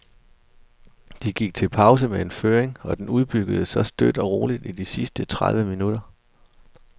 De gik til pausen med en føring, og den udbyggedes så støt og roligt i de sidste tredive minutter.